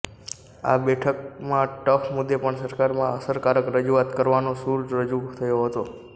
આ બેઠકમાં ટફ મુદ્દે પણ સરકારમાં અસરકારક રજૂઆત કરવાનો સૂર રજૂ થયો હતો